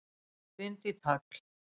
Bind í tagl.